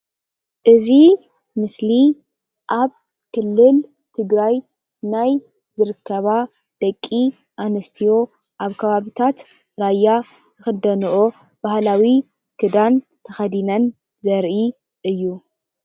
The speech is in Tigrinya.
እዚ ምስሊ ኣብ ክልል ትግራይ ናይ ዝርከባ ደቂ ኣንስትዮ ኣብ ከባቢታት ራያ ዝክደንኦ ባህላዊ ክድን ተከዲነን ዘርኢ እዩ፡፡